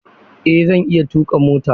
Eh zan iya tuka mota.